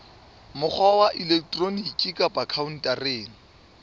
mokgwa wa elektroniki kapa khaontareng